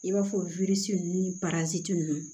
I b'a fɔ ni ninnu